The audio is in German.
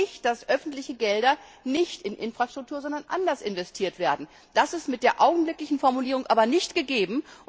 Wir wollen nicht, dass öffentliche Gelder nicht in Infrastruktur, sondern anders investiert werden. Das ist mit der augenblicklichen Formulierung aber nicht gegeben.